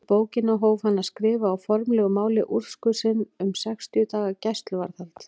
Í bókina hóf hann að skrifa á formlegu máli úrskurð sinn um sextíu daga gæsluvarðhald.